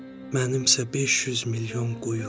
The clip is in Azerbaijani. Mənim isə 500 milyon quyum.